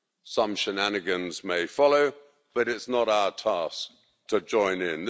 Some shenanigans may follow, but it's not our task to join in.